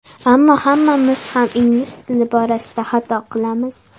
Ammo hammamiz ham ingliz tili borasida xato qilamiz.